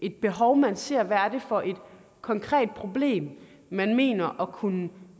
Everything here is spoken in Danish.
et behov man ser hvad er det for et konkret problem man mener at kunne